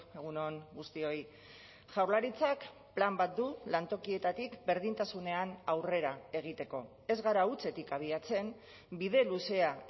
egun on guztioi jaurlaritzak plan bat du lantokietatik berdintasunean aurrera egiteko ez gara hutsetik abiatzen bide luzea